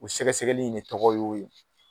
O sɛgɛsɛgɛli in de tɔgɔ y'o ye